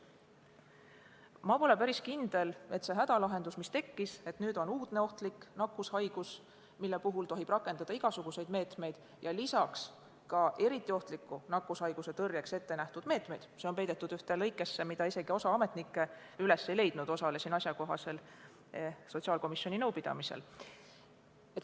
Ma pole päris kindel, et see hädalahendus, mis leiti, et nüüd on meil uudne ohtlik nakkushaigus, mille puhul tohib rakendada igasuguseid meetmeid, ka eriti ohtliku nakkushaiguse tõrjeks ette nähtud meetmeid – see on peidetud ühte lõikesse, mida isegi osa ametnikke üles ei leidnud, osalesin asjakohasel sotsiaalkomisjoni nõupidamisel –, oleks parim.